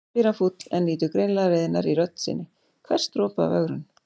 spyr hann fúll en nýtur greinilega reiðinnar í rödd sinni, hvers dropa af ögrun.